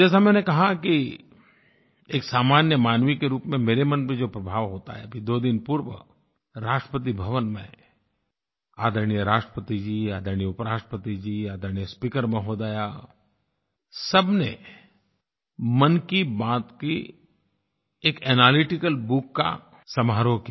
जैसा मैंने कहा कि एक सामान्य मानव के रूप में मेरे मन में जो प्रभाव होता है फिर दो दिन पूर्व राष्ट्रपति भवन में आदरणीय राष्ट्रपति जी आदरणीय उपराष्ट्रपति जी आदरणीय स्पीकर महोदया सबने मन की बात की एक एनालिटिकल बुक का समारोह किया